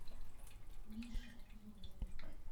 мише зубове